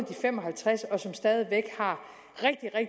fem og halvtreds år